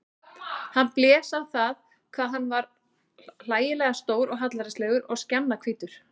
Hann blés á það hvað hann var hlægilega stór og hallærislegur og skjannahvítur.